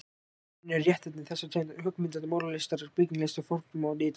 rauninni er réttnefni þessarar tegundar höggmynda- og málaralistar byggingalist forma og lita.